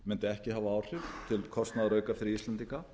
mundi ekki hafa áhrif til kostnaðarauka fyrir íslendinga